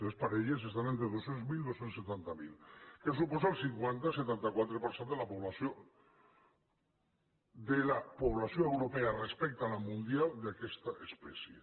les parelles estan entre dos cents miler i dos cents i setanta miler que suposa el cinquanta coma setanta quatre per cent de la població de la població europea respecte a la mundial d’aquesta espècie